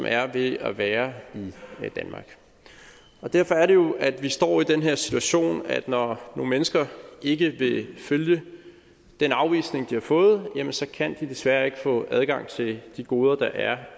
er ved at være i danmark derfor er det jo at vi står i den her situation nemlig at når nogle mennesker ikke vil følge den afvisning de har fået jamen så kan de desværre ikke få adgang til de goder der er